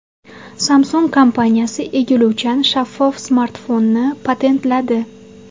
Samsung kompaniyasi egiluvchan shaffof smartfonni patentladi.